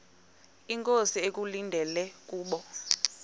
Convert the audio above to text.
inkosi ekulindele kubo